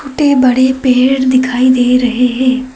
छोटे बड़े पेड़ दिखाई दे रहे हैं।